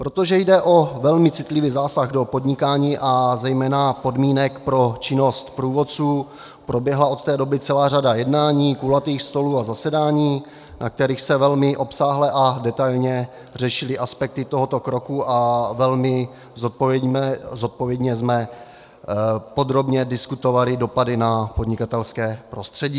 Protože jde o velmi citlivý zásah do podnikání a zejména podmínek pro činnost průvodců, proběhla od té doby celá řada jednání, kulatých stolů a zasedání, na kterých se velmi obsáhle a detailně řešily aspekty tohoto kroku a velmi zodpovědně jsme podrobně diskutovali dopady na podnikatelské prostředí.